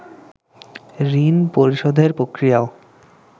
ঋণ পরিশোধের পক্রিয়াও